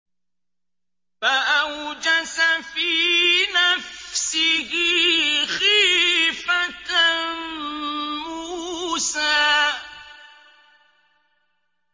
فَأَوْجَسَ فِي نَفْسِهِ خِيفَةً مُّوسَىٰ